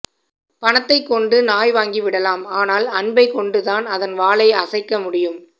பணத்தைக்கொண்டு நாய் வாங்கி விடலாம் ஆனால் அன்பைக்கொண்டு தான் அதன் வாலை அசைக்க முடியும்